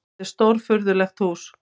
Þetta var stórfurðulegt hús.